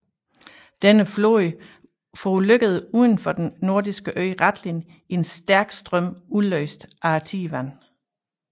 Denne flåde forulykkede udenfor den nordirske ø Rathlin i en stærk strøm udløst af tidevandet